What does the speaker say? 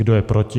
Kdo je proti?